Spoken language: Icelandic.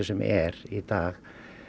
sem er í dag